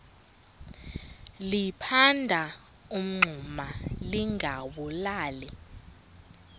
liphanda umngxuma lingawulali